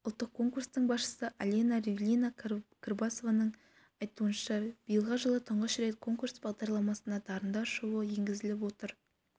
ұлттық конкурстың басшысы алена ривлина-кырбасованың айтуынша биылғы жылы тұңғыш рет конкурс бағдарламасына дарындар шоуы енгізіліп отыр